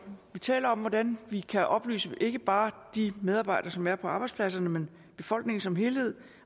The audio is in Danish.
vi taler om hvordan vi kan oplyse ikke bare de medarbejdere som er på arbejdspladserne men befolkningen som helhed